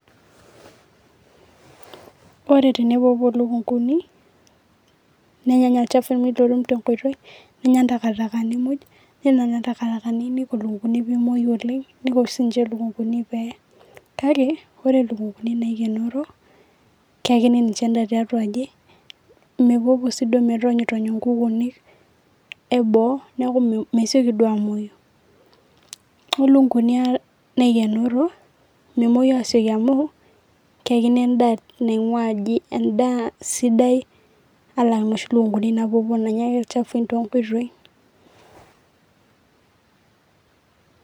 ore tenepoopuo ilukunguni, nenyaanya ilchafui olltum te nkoitoi, nenyaanya intakitakani muj, ore ina nanya intakitakani nisho ilukunkuni pee emuoi oleng'.nisho sii ninche ilukunkuni naaikenori tiaji. keyakini ninche edaa tiatua aji, mepoopuo siiduo metoonyo nkukunik, eboo neeku mesioki duoo amuoyu. ore lukunkuni naikenoro, memuoyu aasioki amu, keyakini edaa naing'uaa aji edaa sidai, alang inoshi lukunkuni naapopuo naanya idaikin toonkoitoi.